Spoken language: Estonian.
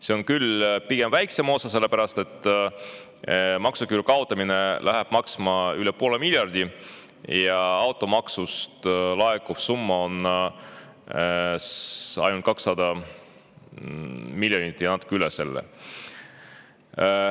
See on küll pigem väiksem osa, sellepärast et maksuküüru kaotamine läheb maksma üle poole miljardi, automaksust laekuv summa on aga ainult 200 miljonit ja natuke üle selle.